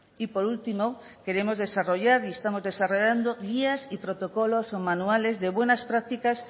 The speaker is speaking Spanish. y por último queremos desarrollar y estamos desarrollando guías y protocolos o manuales de buenas prácticas